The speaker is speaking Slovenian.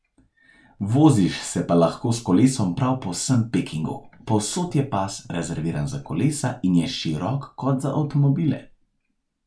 Voziš se pa lahko s kolesom prav po vsem Pekingu, povsod je pas, rezerviran za kolesa, in je širok kot za avtomobile.